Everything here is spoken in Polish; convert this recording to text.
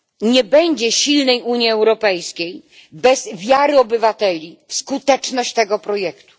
Nie będzie silnej Unii Europejskiej bez wiary obywateli w skuteczność tego projektu.